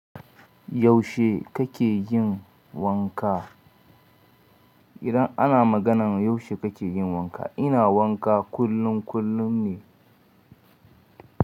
Yaushe kake yin wanka? Idan ana maganan yaushe kake yin wanka, ina wanka kullum kullum ne.